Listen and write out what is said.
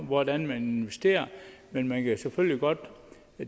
hvordan de investerer men man kan selvfølgelig godt